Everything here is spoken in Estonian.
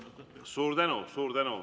Suur tänu!